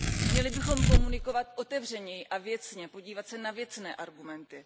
Měli bychom komunikovat otevřeněji a věcně, podívat se na věcné argumenty.